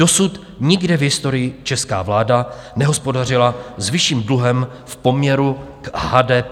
Dosud nikde v historii česká vláda nehospodařila s vyšším dluhem v poměru k HDP.